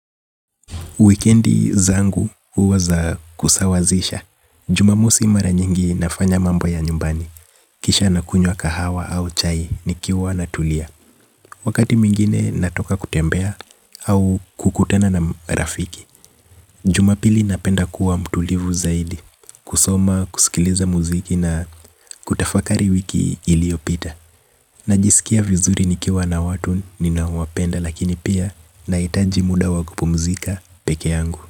Wikendi zangu huwa za kusawazisha. Jumamosi mara nyingi nafanya mambo ya nyumbani. Kisha nakunywa kahawa au chai nikiwa natulia. Wakati mwingine natoka kutembea au kukutana na rafiki. Jumapili napenda kuwa mtulivu zaidi. Kusoma, kusikiliza muziki na kutafakari wiki iliopita. Najiskia vizuri nikiwa na watu ninao wapenda lakini pia naitaji muda wa kupumzika peke yangu.